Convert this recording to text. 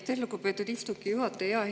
Aitäh, lugupeetud istungi juhataja!